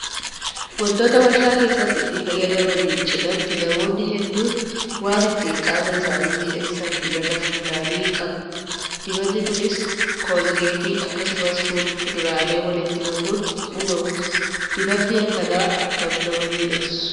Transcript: Wantoota warshaa keessatti itti yaadamaniin cinaatti namoonni hedduun waan ittiin qaama isaanii miidhagsan dibata fuulaa ni qabu. Dibatni Kunis koolgeetii akkasumas fuduraalee walitti makuun uumamu. Dibatni akkanaa akkam nama miidhagsu